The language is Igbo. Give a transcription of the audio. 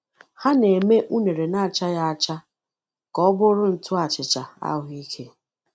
Ha na-eme unere na-achaghị acha ka ọ bụrụ ntụ achịcha ahụike.